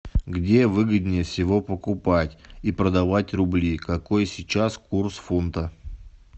где выгоднее всего покупать и продавать рубли какой сейчас курс фунта